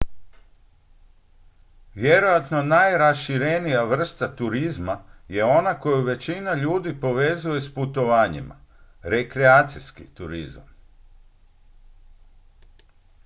vjerojatno najraširenija vrsta turizma je ona koju većina ljudi povezuje s putovanjima rekreacijski turizam